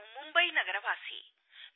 ನಾನು ಮುಂಬೈ ನಗರವಾಸಿ